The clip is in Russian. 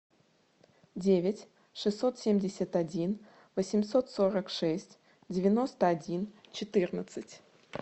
девять шестьсот семьдесят один восемьсот сорок шесть девяносто один четырнадцать